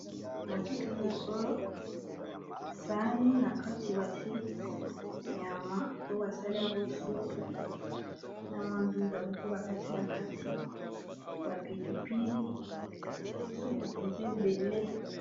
na bilili oyo sani na kati batie nyama oyo basali yango supu na mandunda moko bakati na kati bapilipili supu mpenza ebele